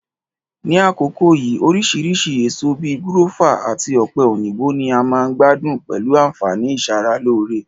Ní àkókó yìí, orísìrísi èso bi gúrọ́fà àtí ọ̀pẹ̀-òyìnbó ni a ma n gbádún pẹ̀lu ànfàní ìsara-lóree